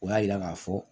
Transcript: O y'a yira k'a fɔ